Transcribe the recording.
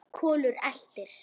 Kolur eltir.